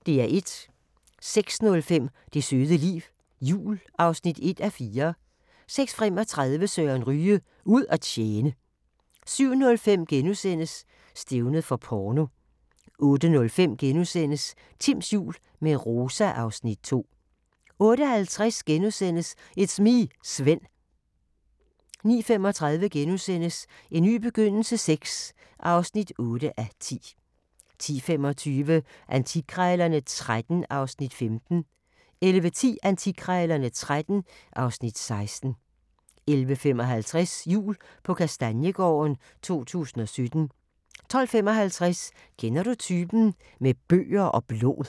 06:05: Det søde liv – jul (1:4) 06:35: Søren Ryge: Ud at tjene 07:05: Stævnet for porno * 08:05: Timms jul – med Rosa (Afs. 2)* 08:50: It's me, Svend * 09:35: En ny begyndelse VI (8:10)* 10:25: Antikkrejlerne XIII (Afs. 15) 11:10: Antikkrejlerne XIII (Afs. 16) 11:55: Jul på Kastaniegården - 2017 12:55: Kender du typen? – Med bøger og blod